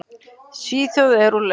Svíþjóð er úr leik.